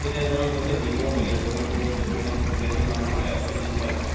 remote area বহুত দূৰত যত মানে population মান হয় এশ দুশ আছে